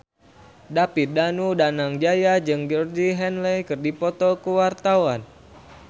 David Danu Danangjaya jeung Georgie Henley keur dipoto ku wartawan